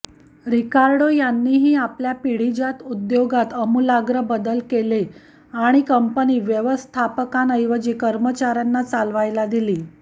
रिकार्डो यांनीही आपल्या पिढीजात उद्योगात आमूलाग्र बदल केले आणि कंपनी व्यवस्थापकांऐवजी कर्मचाऱ्यांना चालवायला दिली